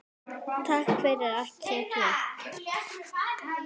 Takk fyrir allt, þið tvö.